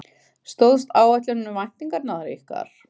Stóðst áætlunin væntingar ykkar?